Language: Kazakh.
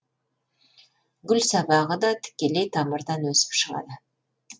гүл сабағы да тікелей тамырдан өсіп шығады